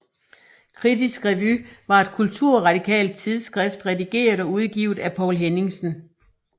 Kritisk Revy var et kulturradikalt tidsskrift redigeret og udgivet af Poul Henningsen